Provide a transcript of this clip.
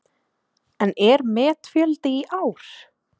Helga: En er metfjöldi í ár?